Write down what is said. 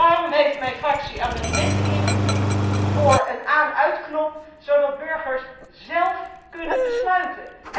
Daarom heeft mijn fractie amendementen ingediend voor een aan uitknop, zodat burgers zelf kunnen besluiten.